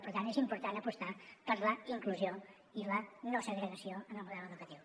per tant és important apostar per la inclusió i la no segregació en el model educatiu